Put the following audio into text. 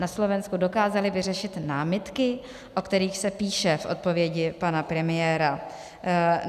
Na Slovensku dokázali vyřešit námitky, o kterých se píše v odpovědi pana premiéra.